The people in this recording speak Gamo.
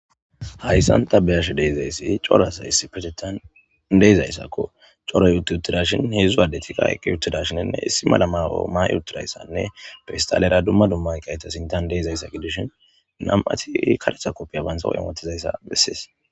hayssan ta beyash deizayssi corasa issi petetan deezayssakko coroy utyuttidashin heedzdzu addetika eqqi uttida shinenne issi malama oma yutudayssanne fistalera dumma dumma yqayta sintan deezayssa gidishin nam7ati kadetha koppiya baynsaw imotizayssa bessees